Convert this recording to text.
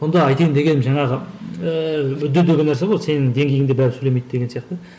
мұнда айтайын дегенім жаңағы ыыы деген нәрсе қой сенің деңгейіңде бәрібір сөйлемейді деген сияқты